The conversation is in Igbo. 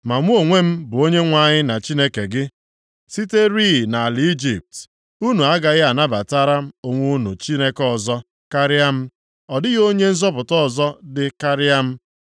“Ma mụ onwe m bụ Onyenwe anyị na Chineke gị, siterịị nʼala Ijipt. Unu agaghị anabatara onwe unu Chineke ọzọ karịa m. Ọ dịghị Onye nzọpụta ọzọ dị karịa m.